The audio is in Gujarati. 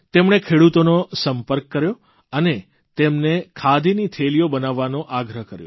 તેમણે ખેડૂતોનો સંપર્ક કર્યો અને તેમને ખાદીની થેલીઓ બનાવવાનો આગ્રહ કર્યો